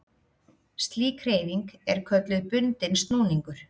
Slík hreyfing er kölluð bundinn snúningur.